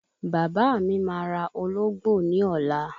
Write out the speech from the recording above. Bàbá mi máa ra Ológbò ní ọ̀la